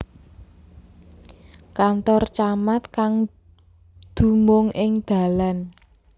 Kantor Camat kang dumung ing Dalan